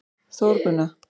Þórgunna